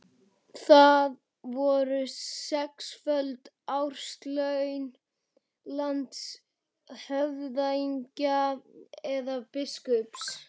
Það voru sexföld árslaun landshöfðingja eða biskups.